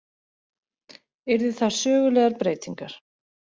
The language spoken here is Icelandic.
Yrðu það sögulegar breytingar